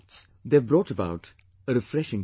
They have brought about a refreshing feeling